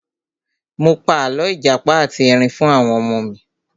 Mo pa àlọ́ ìjàpá ati Ẹrin fún àwọn ọmọ mi.